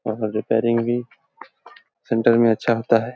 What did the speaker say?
Repairing भी centre में अच्छा होता है।